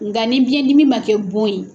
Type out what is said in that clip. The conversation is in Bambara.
Nka ni biyɛn dimi ma kɛ bon ye.